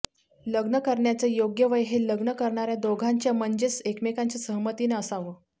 लग्न करण्याचं योग्य वय हे लग्न करणाऱ्या दोघांच्या म्हणजेच एकमेकांच्या सहमतीनं असावं